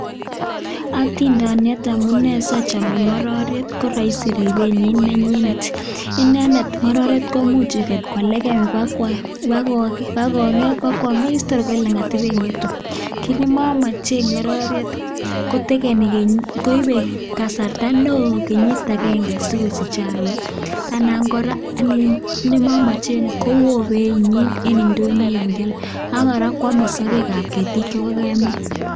Atindoooniii amun achame ngororek amun ngororek kekwerie Kwa osnet pa kwaget kii nimachameee ngororee chuuu ko Ameer tugun chepo piik kemeeee minutik chemitei mbaret ap Chito ako Eng ndonyo KO oooo beeeit nyiin nea